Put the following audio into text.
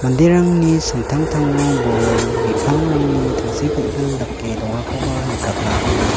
manderangni samtangtango bol bi·pangrangni tangsekgilgil dake dongakoba nikatna man·a.